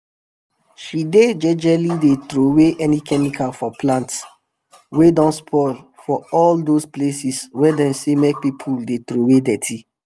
she dey jejely dey trowey any chemical for plants wey don spoil for all those places wey dem say make pipu dey trowey dirty